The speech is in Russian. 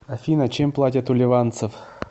афина чем платят у ливанцев